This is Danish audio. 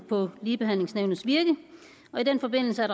på ligebehandlingsnævnets virke og i den forbindelse er